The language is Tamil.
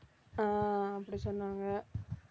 ஆஹ் அப்படி சொன்னாங்க